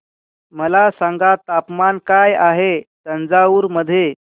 मला सांगा तापमान काय आहे तंजावूर मध्ये